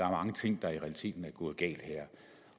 mange ting der i realiteten er gået galt her